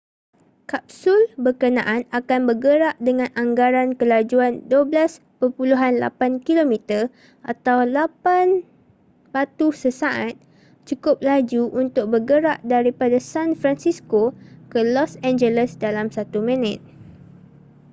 kapsul berkenaan akan bergerak dengan anggaran kelajuan12.8 km atau 8 batu sesaat cukup laju untuk bergerak daripada san francisco ke los angeles dalam satu minit